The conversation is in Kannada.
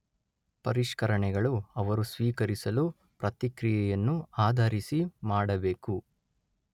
ಪರಿಷ್ಕರಣೆಗಳು ಅವರು ಸ್ವೀಕರಿಸಲು ಪ್ರತಿಕ್ರಿಯೆಯನ್ನು ಆಧರಿಸಿ ಮಾಡಬೇಕು.